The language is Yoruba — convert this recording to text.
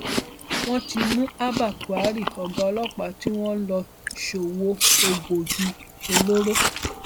wọn ti mú abba kyari ọgá ọlọpàá tí wọn lọ ń ṣòwò egbòogi olóró